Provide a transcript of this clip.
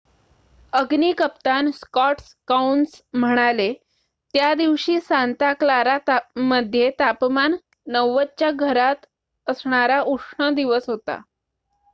अग्नी कप्तान स्कॉट कौन्स म्हणाले त्या दिवशी सांता क्लारा मध्ये तापमान 90 च्या घरात असणारा उष्ण दिवस होता